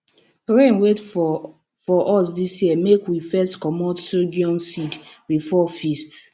rain wait for for us dis year make we fit comot sorghum seed before feast